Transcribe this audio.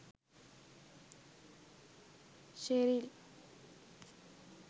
sheril